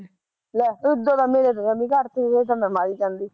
ਲੈ ਇਦਾਂ ਤਾਂ ਮੇਰੇ ਤਾਂ ਜਮੀ ਘੱਟ ਤੇ ਫੇਰ ਤਾਂ ਮੈਂ ਮਰ ਈ ਜਾਂਦੀ